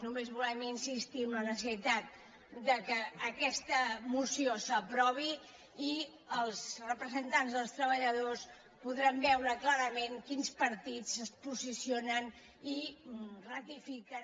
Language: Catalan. només volem insistir en la necessitat que aquesta moció s’aprovi i els representants dels treba·lladors podran veure clarament quins partits es po·sicionen i ratifiquen